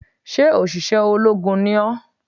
Sé òṣìṣẹ́ ológun ni ó?